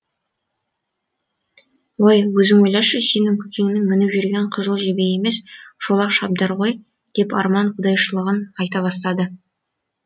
өй өзің ойлашы сенің көкеңнің мініп жүргені қызыл жебе емес шолақ шабдар ғой деп арман құдайшылығын айта бастады